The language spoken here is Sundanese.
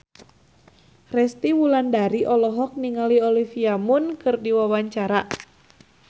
Resty Wulandari olohok ningali Olivia Munn keur diwawancara